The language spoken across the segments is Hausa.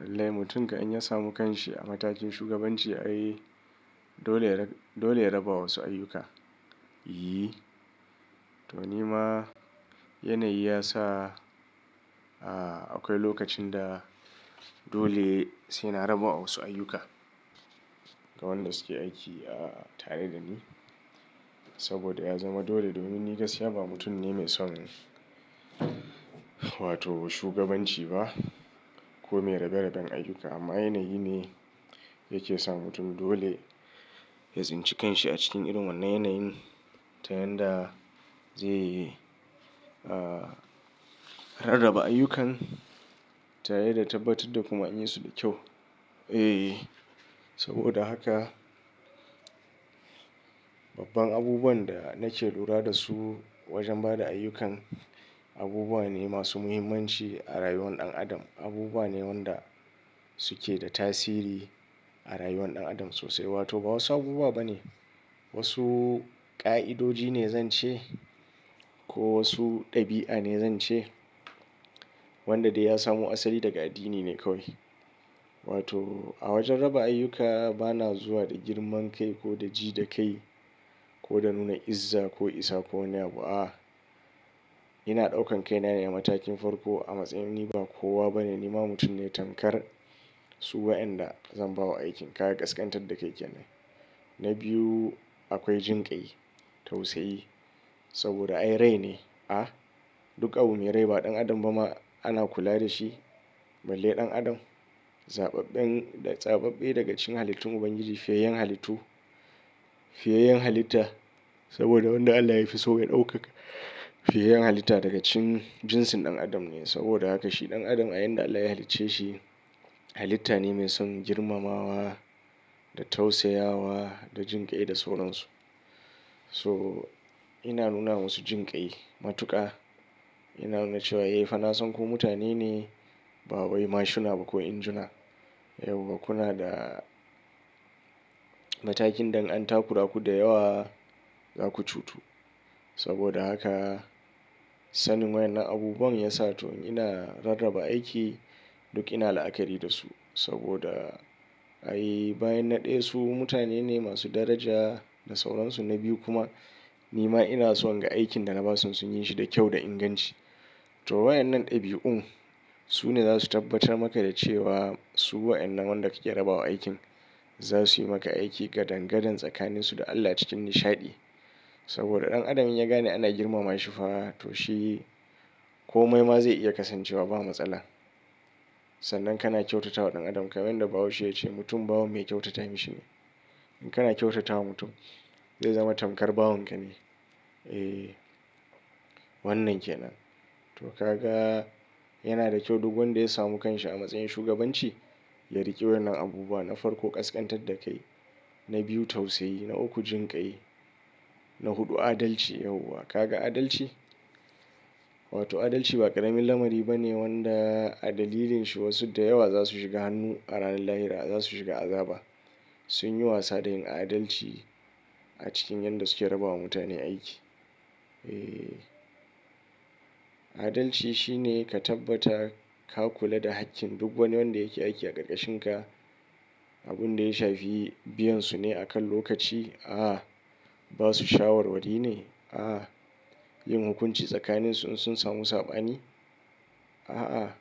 Lallai mutum kam in ya samu kanshi a matakin shugabanci, ai dole yai raba wasu ayyuka. To ni ma yanayi ya sa akwai lokacin da dole sai na raba wasu ayyuka ga wadanda suke aiki tare da ni. Saboda ya zama dole, domin ni gaskia ba mutum ne mai son wato shugabanci ba ko mai rabe-raben ayyuka. Amma yanayi ne yake sa mutum dole ya tsinci kanshi a cikin irin wannan yanayin, ta yanda zai rarraba ayyukan tare da tabbatar da kuma yin su da kyau. Saboda haka babban abubuwan da nake lura da su wajen ba da ayyukan abubuwa ne masu muhimmanci a rayuwar ɗan adam. Abubuwa ne wanda suke da tasiri a rayuwar ɗan adam sosai, wato ba wasu abubuwa ba ne. Wasu ƙa'idoji ne zan ce ko wasu ɗabi'a ne zan ce wanda da ya samo asali daga addini ne kawai. Wato a wajen raba ayyuka bana zuwa da girman kai ko da ji da kai ko da nuna izza ko isa ko wani abu. Ina ɗaukan kaina ne a matakin farko a matsayin ni ba kowa ba ne, nima mutum ne tamkar su wa'yanda zan ba wa aikin. Kaga ƙasƙantar da kai kenan. Na biyu akwai jinƙai, tausayi saboda ai rai ne. A duk abu me rai ba ɗan adam ba ma ana kula da shi balle ɗan adam. Zaɓaɓɓei daga cikin halittun Ubangiji fiyayen halittu, fiyayen halitta saboda wanda Allah ya fi so ya ɗaukaka fiyayen halitta daga cikin jinsin ɗan adam ne. Saboda haka shi ɗan adam a yanda Allah ya halicce shi halitta ne mai son girmamawa da tausayawa da jinƙai da sauransu. So ina nuna wasu jinƙai, matuƙa ina nuna cewa eh fa na san ku mutane ne ba wai mashuna ba ko injuna. Yau wa kuna da matakin da in an takura ku da yawa za ku cutu. Saboda haka sanin wayen nan abubuwan ya sa to ina rarraba aiki duk ina la'akari da su. Saboda ayi bayan na ɗaya su mutane ne masu daraja da sauransu. Na biyu kuma ni ma ina so ga aikin da na ba su sun yin shi da kyau da inganci. To wayen nan ɗabi'un su ne za su tabbatar maka da cewa su wayen nan wanda kake raba wa aikin za su yi maka aiki gadangadan tsakaninsu da Allah cikin nishaɗi. Saboda ɗan adam in ya gane ana girmama shi fa to shi komai ma zai iya kasancewa ba matsala. Sannan kana kyautata wa ɗan adam, kamar yanda Bahaushiya take cewa mutum bawan me kyautata mishi ne. In kana kyautata wa mutum zai zama tamkar bawanka ne. Eh wannan ke nan. To ka ga yana da kyau duk wanda ya samu kanshi a matsayin shugabanci ya riƙi wannan abubuwa. Na farko ƙasƙantar da kai, na biyu tausayi, na uku jinƙai, na huɗu adalci. Yauwa ka ga adalci? Wato adalci ba ƙaramin lamari ba ne wanda a dalilin shi wasu da yawa za su shiga hannu a ranar lahira, za su shiga azaba. Sun yi wasa da yin adalci a cikin yanda suke raba wa mutane aiki. Eh adalci shi ne ka tabbata ka kula da hakkin duk wani wanda yake aiki a ƙarƙashinka. Abun da ya shafi biyan su ne akan lokaci? A'a. Ba su shawarwari ne? A'a. Yin hukunci tsakanin su in sun samu saɓani? A'a.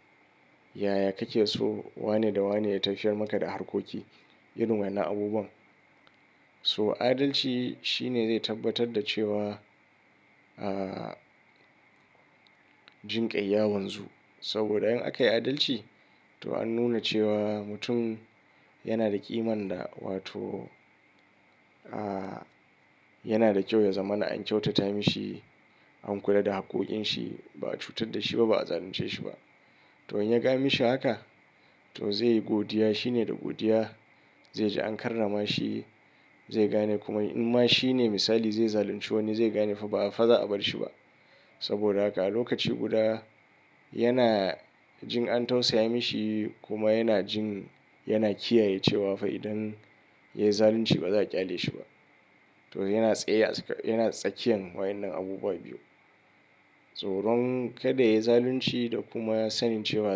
Yaya kake so wane da wane ya tafiyar maka da harkoki irin wannan abubuwan? So adalci shi ne zai tabbatar da cewa jinƙai ya wanzu. Saboda in aka yi adalci to an nuna cewa mutum yana da ƙiman da wato yana da kyau ya zama na an kyautata mishi, an kula da haƙƙoƙin shi, ba a cutar da shi ba, ba a zalunce shi ba. To in ya ga an mishi haka to zai yi godiya. Shi ne da godiya zai ji an karrama shi, zai gane kuma in ma shi ne misali zai zalunci wani zai gane fa ba fa za a bar shi ba. Saboda haka a lokaci guda yana jin an tausaya mishi kuma yana jin yana kiyaye cewa fa idan ya yi zalunci ba za a ƙyale shi ba. To yana tsakiyan wayen nan abubuwa biyu. Tsoron kada ya yi zalunci da kuma ya sanin cewa.